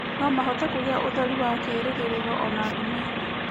No mahote kũgĩa ũtheri wa kĩĩrĩgĩrĩro o na nduma-inĩ.